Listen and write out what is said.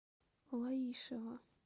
лаишево